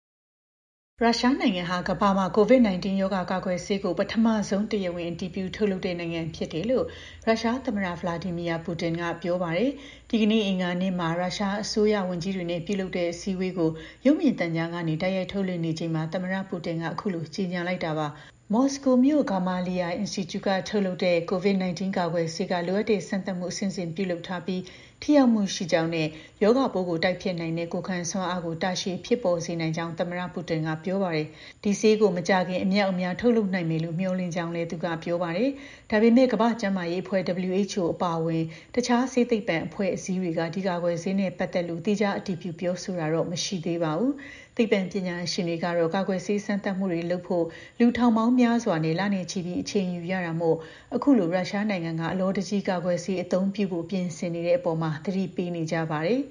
ရုရှားနိုင်ငံဟာ ကမ္ဘာမှာ COVID 19 ရောဂါကာကွယ်ဆေးကို ပထမဆုံး တရားဝင် အတည်ပြုထုတ်လုပ်နိုင်တဲ့ နိုင်ငံဖြစ်တယ်လို့ ရုရှား သမ္မတ Vladimir Putin က ပြောပါတယ်။ ဒီကနေ့ အင်္ဂါနေ့မှာ ရုရှား အစိုးရ ဝန်ကြီးတွေနဲ့ ပြုလုပ်နေတဲ့ အစည်းအဝေးကို ရုပ်မြင်သံကြားကနေ တိုက်ရိုက် ထုတ်လွှင့်နေချိန်မှာ သမ္မတ Putin က အခုလို ကြေညာလိုက်တာပါ။ မော်စကိုမြို့က Gamaleya Institute ထုတ်လုပ်တဲ့ COVID 19 ကာကွယ်ဆေးက လိုအပ်တဲ့ စမ်းသပ်မှု အဆင့်ဆင့် ပြုလုပ်ထားပြီး ထိရောက်မှုရှိကြောင်းနဲ့ ရောဂါပိုးကို တိုက်ဖျက်နိုင်တဲ့ ကိုယ်ံစွမ်းအားကို တာရှည်ဖြစ်ပေါ်စေနိုင်ကြောင်း သမ္မတ Putin ကပြောပါတယ်။ ဒီဆေးကို မကြာခင် အမြောက်အမြား ထုတ်လုပ်နိုင်မယ်လို့ မျှော်လင့်ကြောင်းလည်း သူက ပြောပါတယ်။ ဒါပေမဲ့ ကမ္ဘာ့ကျန်းမာရေး အဖွဲ့ WHO အပါအဝင် တခြား ဆေးသိပ္ပံအဖွဲ့အစည်းတွေက ဒီကာကွယ်ဆေးနဲ့ ပတ်သက်လို့ သီးခြား အတည်ပြုပြောဆိုတာတော့ မရှိသေးပါဘူး။ သိပ္ပံပညာရှင်တွေကတော့ ကာကွယ်ဆေး စမ်းသပ်မှုတွေကို လုပ်ဖို့ လူ ထောင်ပေါင်း များစွာနဲ့ လနဲ့ ချီပြီး အချိန်ယူရတာမို့ အခုလို ရုရှားနိုင်ငံက အလောတကြီး ကာကွယ်ဆေးအသုံးပြုဖို့ ပြင်ဆင်နေတဲ့ အပေါ် သတိပေးနေကြပါတယ်